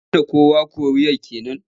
Ya hana kowa koriyar ke nan?